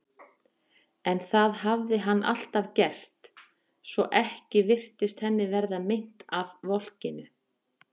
En það hafði hann alltaf gert, svo ekki virtist henni verða meint af volkinu.